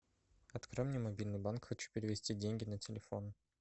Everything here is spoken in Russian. открой мне мобильный банк хочу перевести деньги на телефон